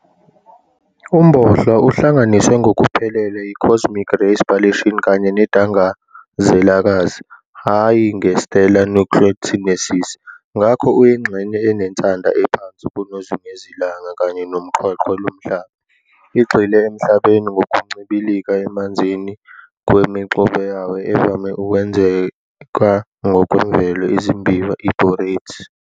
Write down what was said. UmBohlwa uhlanganiswe ngokuphelele yi-"cosmic ray spallation" kanye neDangazelakazi hhayi nge-"stellar nucleosynthesis", ngakho uyingxenye enensada ephansi kunozungezilanga kanye noqweqwe loMhlaba. Igxile eMhlabeni ngokuncibilika emanzini kwemixube yawo evame ukwenzeka ngokwemvelo, izimbiwa e-borate.